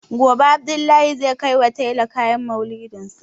Gobe Abdullahi zai kaiwa tailor kayan Maulidinsa.